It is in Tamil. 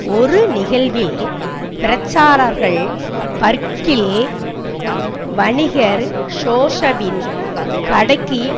ஒரு நிகழ்வில் பிரச்சாரகர்கள் பர்பங்கில் வணிகர் ஜோவின் கடைக்கு